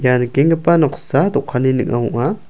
ia nikenggipa noksa dokanni ning·o ong·a.